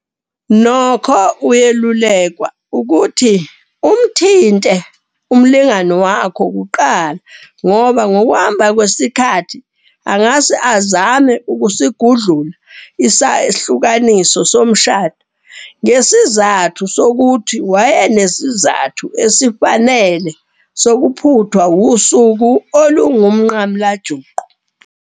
Nokho, uyelulekwa ukuthi umthinte umlingani wakho kuqala ngoba ngokuhamba kwesikhathi angase azame ukusigudlula isahlukaniso somshado ngesizathu sokuthi wayenesizathu esifanele sokuphuthwa usuku olungumnqamulajuqu.